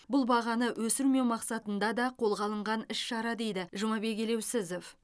бұл бағаны өсірмеу мақсатында да қолға алынған іс шара дейді жұмабек елеусізов